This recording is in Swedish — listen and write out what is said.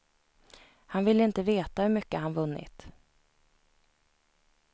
Han ville inte veta hur mycket han vunnit.